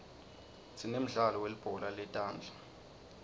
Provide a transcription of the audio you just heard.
sinemdlalo welibhola letandza